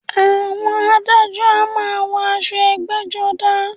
Àwọn adájọ a máa wọ aṣọ ẹgbẹ́-jọdá.